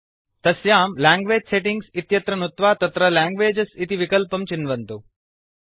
तस्यां language settings इत्यत्र नुत्वा तत्र लैंग्वेजेस् इति विकल्पं चिन्वन्तु